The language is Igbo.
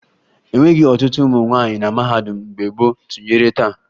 E nweghi ọtụtụ ụmụ nwaanyị na mahadum mgbe gboo tụnyere taa